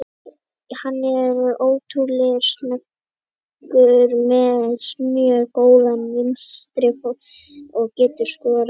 Hann er ótrúlega snöggur, með mjög góðan vinstri fót og getur skorað mörk.